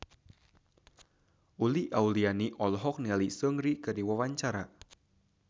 Uli Auliani olohok ningali Seungri keur diwawancara